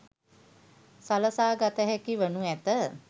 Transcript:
සලසා ගතහැකි වනු ඇත.